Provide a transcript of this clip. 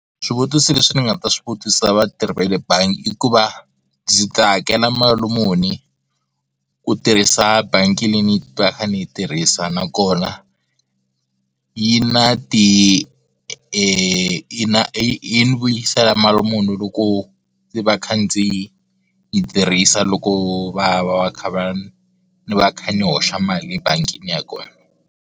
Swivutiso leswi ni nga ta swi vutisa vatirhi va le bangi i ku va ndzi ta hakela mali muni ku tirhisa bangi leyi ni va ka ni yi tirhisa nakona yi na ti yi na yi ni vuyisela mali muni loko ndzi va kha ndzi yi tirhisa loko va va va kha va ni va ni kha ni hoxa mali ebangini ya kona.